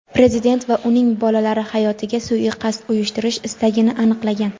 Prezident va uning bolalari hayotiga suiqasd uyushtirish istagini aniqlagan.